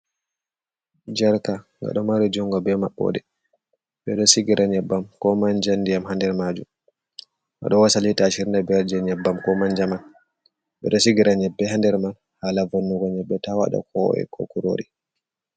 Jarka ga ɗo mari jungo be mabɓe ɗe ɓe ɗo sigira nyebbam ko manja ndiyam ha nder majum ɓe ɗo wasalita ashirin nda biyar nyebbam ko manja man ɓe ɗo sigirani be ha nder man hala vannugo nyambe ta wada kowowe ko kurori.